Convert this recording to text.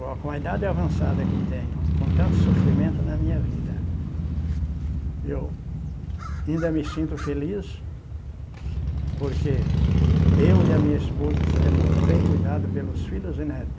Agora, com a idade avançada que tenho, com tanto sofrimento na minha vida, eu ainda me sinto feliz porque eu e a minha esposa, é muito bem cuidado pelos filhos e netos.